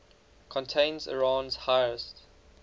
contains iran's highest